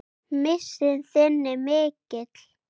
Missir þinn er mikill.